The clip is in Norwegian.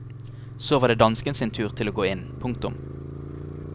Så var det dansken sin tur til å gå inn. punktum